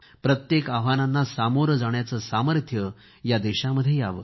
प्रत्येक आव्हानांना सामोरे जाण्याचे सामर्थ्यह या देशामध्ये यावे